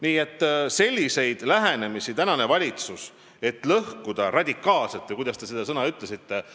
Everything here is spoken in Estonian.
Nii et praegune valitsus ei ole käsitlenud sellist lähenemist, et lõhkuda radikaalselt – või kuidas te ütlesitegi?